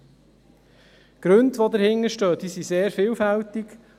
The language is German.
Die Gründe, die dahinterstecken, sind sehr vielfältig.